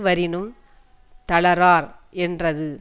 வரினுந் தளரார் என்றது